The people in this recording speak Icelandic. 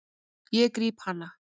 Ég gríp hana.